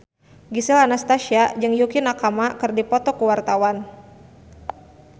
Gisel Anastasia jeung Yukie Nakama keur dipoto ku wartawan